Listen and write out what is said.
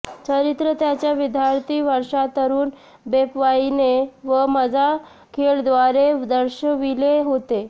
चरित्र त्याच्या विद्यार्थी वर्षांत तरुण बेपर्वाईने व मजा खेळ द्वारे दर्शविले होते